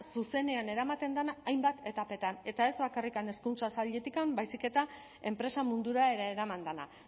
zuzenean eramaten den hainbat etapetan eta ez bakarrik hezkuntza sailetik baizik eta enpresa mundura ere eraman dela